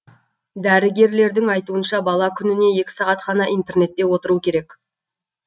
дәрігерлердің айтуынша бала күніне екі сағат қана интернетте отыру керек